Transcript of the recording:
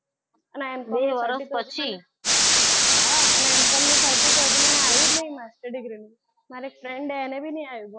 હા અને M com નું certify જી તો મને આવ્યું જ નથી master degree નું મારી એક friend છે અને બી નહીં આવી.